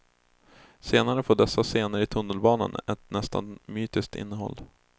Senare får dessa scener i tunnelbanan ett nästan mytiskt innehåll.